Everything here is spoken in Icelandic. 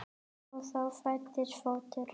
Og þá fæddist fótur.